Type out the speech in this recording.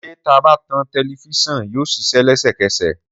Sè tàbá ton tẹlìvision yio sìsẹ lẹsẹkẹsẹ